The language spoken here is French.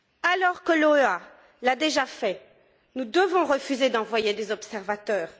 Alors que l'OEA l'a déjà fait, nous devons refuser d'envoyer des observateurs.